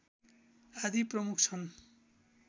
आदि प्रमुख छन्